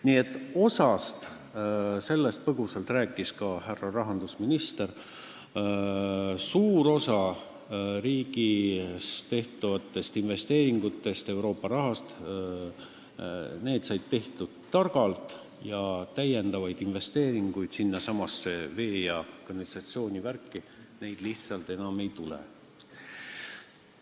Nii et – sellest rääkis põgusalt ka härra rahandusminister – suur osa riigis Euroopa raha abil tehtud investeeringutest said tehtud targalt ja täiendavaid investeeringuid sellesse vee- ja kanalisatsioonivärki lihtsalt enam ei tule.